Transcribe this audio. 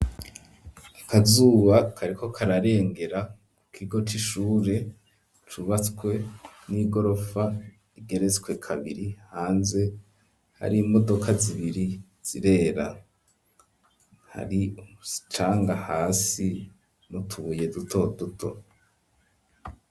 Akazuba kareko kararengera kigo c'ishure cubatswe n'igorofa igeretswe kabiri hanze hari imodoka zibiri zirera hari umucanga hasi nu tubuye duto duto.